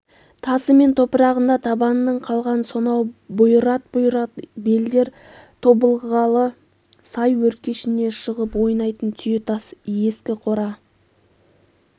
тасы мен топырағында табанының қалған сонау бұйрат-бұйрат белдер тобылғылы сай өркешіне шығып ойнайтын түйетас ескі қора